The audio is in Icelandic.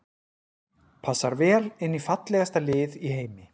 Passar vel inn í fallegasta lið í heimi.